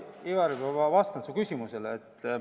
Ivari, ma vastan su küsimusele.